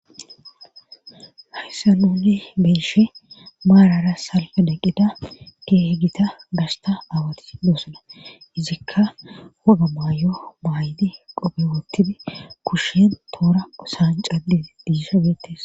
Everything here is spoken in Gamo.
Hayssa nuuni beeshe maarara salfe eqqida keehe gita gasta awati doosana izikka huga maayo baaydi qope woottidi kushen toora osan cadi diisha geettes.